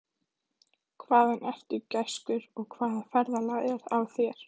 Hvaðan ertu, gæskur, og hvaða ferðalag er á þér?